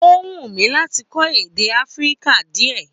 Ó wù mí láti kó èdè áfíríkà díè